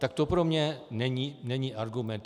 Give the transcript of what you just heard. Tak to pro mne není argument.